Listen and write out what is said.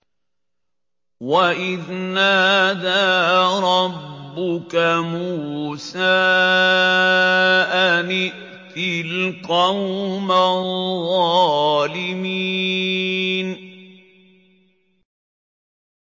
وَإِذْ نَادَىٰ رَبُّكَ مُوسَىٰ أَنِ ائْتِ الْقَوْمَ الظَّالِمِينَ